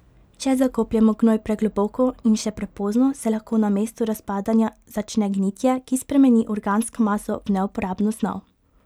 Če zakopljemo gnoj pregloboko in še prepozno, se lahko namesto razpadanja začne gnitje, ki spremeni organsko maso v neuporabno snov.